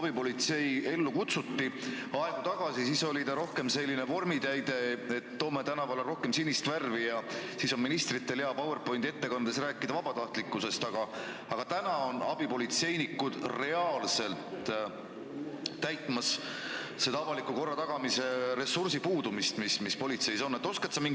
Kui abipolitsei aegu tagasi ellu kutsuti, siis oli ta rohkem selline vormitäide, et toome tänavale rohkem sinist värvi ja siis on ministritel hea PowerPointi kasutades vabatahtlikkusest rääkida, aga nüüd on abipolitseinikud reaalselt korvamas ressursi puudujääki, mis politseis avaliku korra tagamisel on.